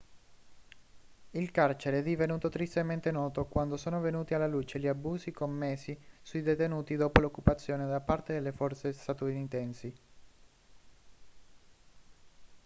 il carcere è divenuto tristemente noto quando sono venuti alla luce gli abusi commessi sui detenuti dopo l'occupazione da parte delle forze statunitensi